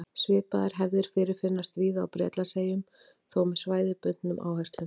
Svipaðar hefðir fyrirfinnast víða á Bretlandseyjum, þó með svæðisbundnum áherslum.